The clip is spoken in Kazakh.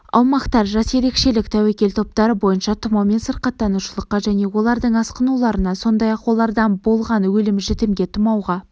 аумақтар жас ерекшелік тәуекел топтары бойынша тұмаумен сырқаттанушылыққа және олардың асқынуларына сондай-ақ олардан болған өлім-жітімге тұмауға